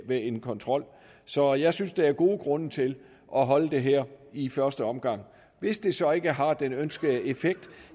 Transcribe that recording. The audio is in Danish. ved en kontrol så jeg synes der er gode grunde til at holde det her i første omgang hvis det så ikke har den ønskede effekt